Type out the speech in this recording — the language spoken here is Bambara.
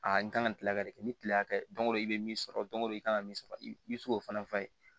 A n kan ka kile ka de kɛ ni kile hakɛ dɔn i bɛ min sɔrɔ don o don i kan ka min sɔrɔ i bi se k'o fana f'a ye